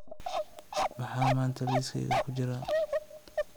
maxaa maanta liiskayga ku jira